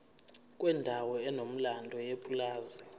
kwendawo enomlando yepulazi